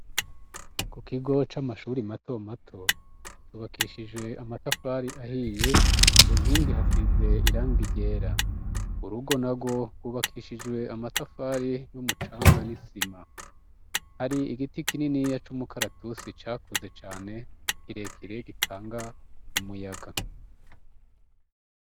Ku kigo c'amashure matomato cubakishijwe amatafari ahiye, ku nkingi hasize irangi ryera. Urugo narwo rwubakishijwe amatafari n'umucanga n'isima. Hari igiti kininiya c'umukaratusi cakuze cane kirekire gitanga umuyaga.